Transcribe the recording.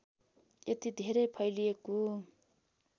यति धेरै फैलिएको